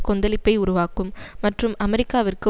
கொந்தளிப்பை உருவாக்கும் மற்றும் அமெரிக்காவிற்கு